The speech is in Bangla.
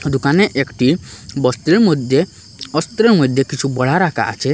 দুকানে একটি মধ্যে কিছু বড়া রাখা আছে।